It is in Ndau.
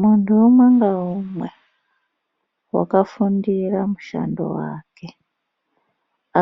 Munhu umwe ngaumwe wakafundira mushando wake